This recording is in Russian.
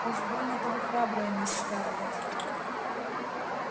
уж больно-то вы храбрая мисс скарлетт